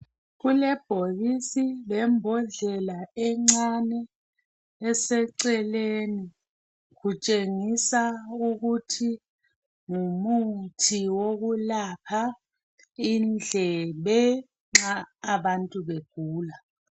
Kulebhokisi lembodlela encane eseceleni, kutshengisa ukuthi ngumuthi wokulapha indlebe nxa abantu begula.